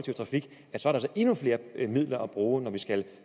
der så er endnu flere midler at bruge af når vi skal